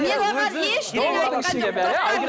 мен оған ештеңе айтқан